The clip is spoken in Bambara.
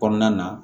Kɔnɔna na